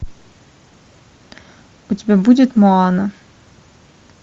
у тебя будет моана